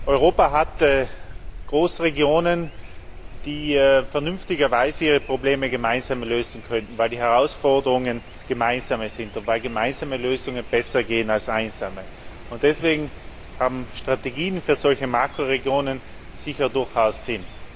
Europa hat Großregionen, die vernünftigerweise ihre Probleme gemeinsam lösen könnten, weil die Herausforderungen gemeinsame sind und weil gemeinsame Lösungen besser funktionieren als einsame. Deswegen haben Strategien für solche Makroregionen sicher durchaus Sinn.